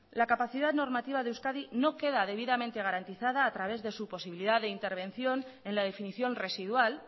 la capacidad normativa de euskadi no queda debidamente garantizada a través de su posibilidad de intervención en la definición residual